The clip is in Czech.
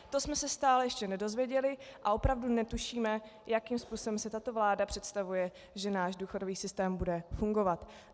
To jsme se stále ještě nedozvěděli a opravdu netušíme, jakým způsobem si tato vláda představuje, že náš důchodový systém bude fungovat.